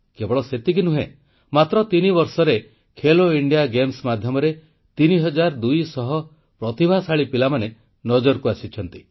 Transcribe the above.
କେବଳ ସେତିକି ନୁହେଁ ମାତ୍ର ତିନିବର୍ଷରେ ଖେଲୋ ଇଣ୍ଡିଆ ଗେମ୍ସ ମାଧ୍ୟମରେ 3200 ପ୍ରତିଭାଶାଳୀ ପିଲାମାନେ ନଜରକୁ ଆସିଛନ୍ତି